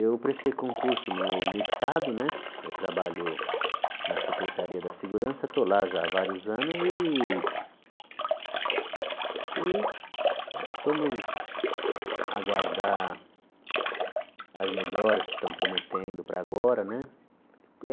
Eu prestei concurso no no Estado né, eu trabalho na Secretaria da Segurança, estou lá já há vários anos e e vamos aguardar as melhoras que estão prometendo para agora né.